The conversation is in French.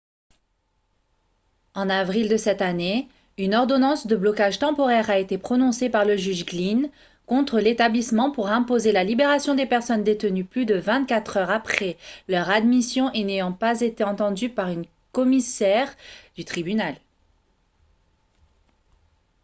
en avril de cette année une ordonnance de blocage temporaire a été prononcée par le juge glynn contre l'établissement pour imposer la libération des personnes détenues plus de 24 heures après leur admission et n'ayant pas été entendues par un commissaire du tribunal